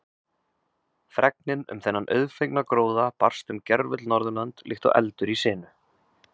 Fregnin um þennan auðfengna gróða barst um gervöll Norðurlönd líkt og eldur í sinu.